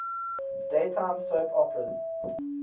daytime soap operas